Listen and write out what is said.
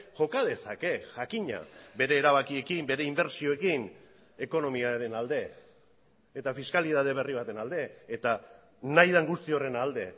joka dezake jakina bere erabakiekin bere inbertsioekin ekonomiaren alde eta fiskalitate berri baten alde eta nahi den guzti horren alde